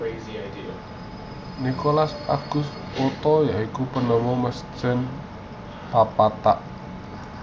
Nikolaus August Otto ya iku penemu mesin papat tak